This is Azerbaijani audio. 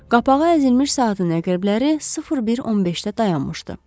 Qapağı əzilmiş saatın əqrəbləri 01:15-də dayanmışdı.